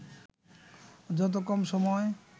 যত কম সময়